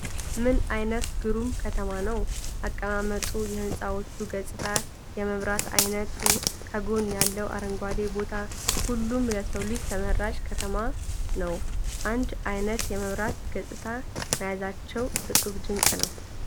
ምን አይነት ግሩም ከተማ ነዉ! አቀማመጡ ፣ የህንፃዎቹ ገፅታ፣ የመብራት አይነቱ፣ ከጎን ያለዉ አረንጓዴ ቦታ፣ ሁሉም ለሰዉ ልጅ ተመራጭ ከተማ ነዉ። አንድ አይነት የመብራት ገፅታ መያዛቸዉ እፁብ ድንቅ ነዉ!